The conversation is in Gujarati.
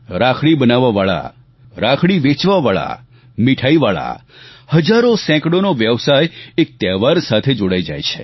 રાખડી બનાવવાવાળા રાખડી વેચવાવાળા મિઠાઈવાળા હજારોસેંકડોનો વ્યવસાય એક તહેવાર સાથે જોડાઈ જાય છે